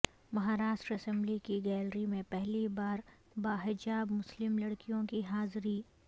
Maharashtra assembly کی gallery میں پہلی بارباحجاب مسلم لڑکیوں کی حاضری